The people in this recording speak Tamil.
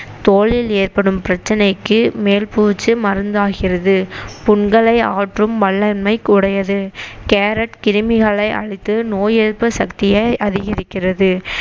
தோலில் ஏற்படும் பிரச்சனைக்கு மேல் பூச்சு மருந்தாகிறது புண்களை ஆற்றும் வல்லமை உடையது கேரட் கிருமிகளை அழித்து நோய் எதிர்ப்பு சக்தியை அதிகரிக்கிறது